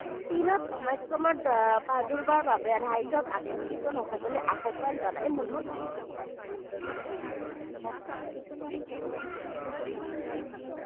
চীনত Omicron ৰ প্ৰাদুৰ্ভাৱৰ বাবে ৰাজ্যক আতংকিত নহ'বলৈ আহ্বান জনাই মুখ্যমন্ত্ৰীয়ে।